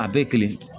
A bɛɛ kelen